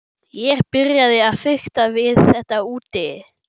Ég byrjaði að fikta við þetta úti.